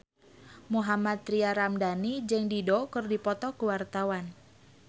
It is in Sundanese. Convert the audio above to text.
Mohammad Tria Ramadhani jeung Dido keur dipoto ku wartawan